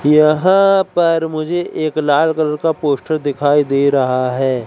यहां पर मुझे एक लाल कलर का पोस्ट दिखाई दे रहा है।